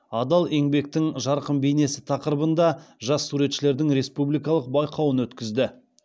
адал еңбектің жарқын бейнесі тақырыбында жас суретшілердің республикалық байқауын өткізді